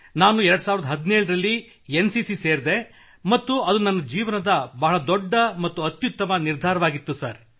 ನಾನು 2017 ರಲ್ಲಿ N C C ಸೇರಿದೆ ಮತ್ತು ಅದು ನನ್ನ ಜೀವನದ ಬಹು ದೊಡ್ಡ ಮತ್ತು ಅತ್ಯುತ್ತಮ ನಿರ್ಧಾರವಾಗಿತ್ತು ಸರ್